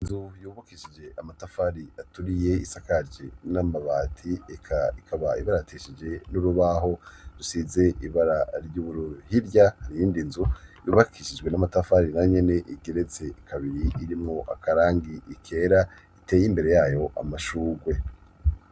Inzu yubakishije amatafari aturiye, isakaje n'amabati, ikaba ibara ateshije n'urubaho rusize ibara ry'uburuhirya harindi nzu yubakishijwe n'amatafari na nyene igeretse kabiri irimo akarangi ikera iteye imbere yayo amashugwe.